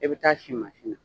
E bɛ taa si mansin na